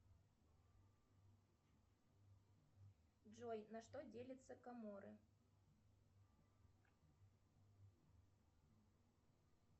джой на что делятся каморы